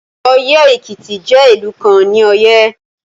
Oye-Ekiti jẹ ilu kan ni Oye